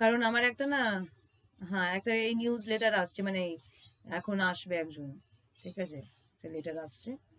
কারণ আমার একটা না, হ্যাঁ একটা এই newsletter আসছে মানে এখন আসবে একজন। ঠিক আছে? তাইলে এটা রাখি।